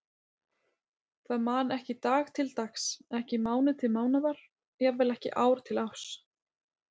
Það man ekki dag til dags, ekki mánuð til mánaðar, jafnvel ekki ár til árs.